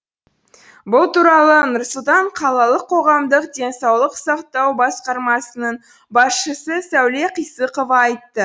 бұл туралы нұр сұлтан қалалық қоғамдық денсаулық сақтау басқармасының басшысы сәуле қисықова айтты